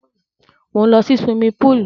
Mò ń lọ sí suwimi púùlù.